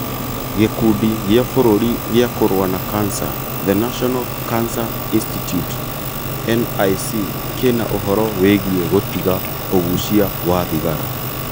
Gĩkundi gĩa bũrũri gĩa kũrũa na Cancer; The National Cancer Institute (NIC), kĩna ũhoro wĩgie gũtiga ũgucia wa thigara